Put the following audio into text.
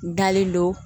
Dalen don